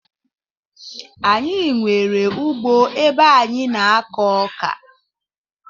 Anyi nwere ugbo ebe anyi na ako oka